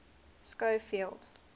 schofield